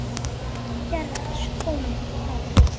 Herrans þjónn það ber.